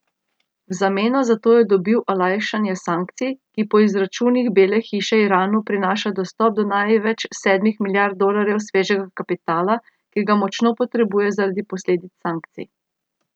V zameno za to je dobil olajšanje sankcij, ki po izračunih Bele hiše Iranu prinaša dostop do največ sedmih milijard dolarjev svežega kapitala, ki ga močno potrebuje zaradi posledic sankcij.